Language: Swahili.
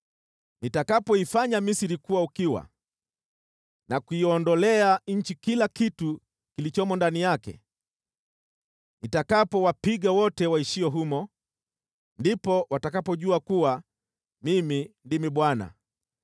Nitakapoifanya Misri kuwa ukiwa na kuiondolea nchi kila kitu kilichomo ndani yake, nitakapowapiga wote waishio humo, ndipo watakapojua kuwa Mimi ndimi Bwana .’